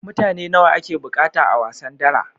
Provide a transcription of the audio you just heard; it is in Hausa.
Mutane nawa ake buƙata a wasan dara?